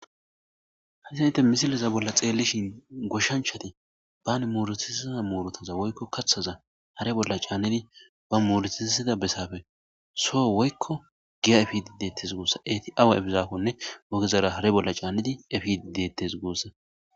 Hayssan tha misle bolla xeellishin goshshanchchathi ban muruthussida muruthatha woykko kaththaza hare bolli caanidi ba muruthissiza bessaappe soo woykko giya efiiddi deeththes guussa;eethi awa eefidaakkonne ogezaara hare bolla caanidi efiidde deeththes guussa.